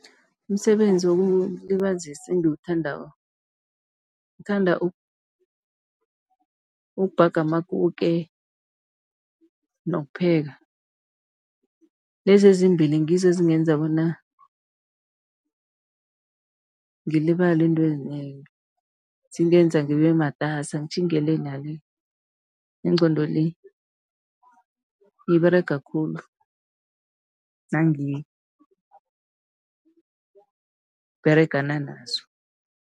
Umsebenzi wokulibazisa engiwuthandako, ngithanda ukubhaga amakuke nokupheka. Lezi ezimbili ngizo ezingenza bona ngilibale izinto ezinengi. Zingenza ngibe matasa ngitjhinge le na le, ingqondo le iberega khulu nangiberegana nazo.